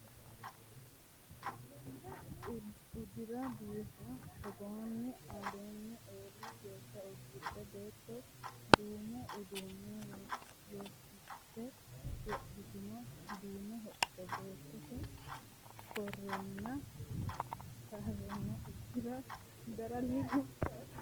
Udira biifa togootinna alini eelli geeshsha udidhe beetto duumo uduune rooriste woroonino duume hoco baatttote karenna udirase gara leellishani no.